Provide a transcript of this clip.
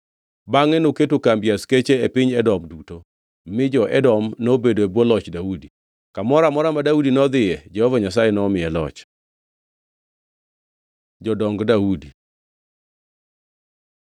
Bangʼe noketo kambi askeche e piny Edom duto, mi jo-Edom nobedo e bwo loch Daudi. Kamoro amora ma Daudi nodhiye Jehova Nyasaye nomiye loch. Jodong Daudi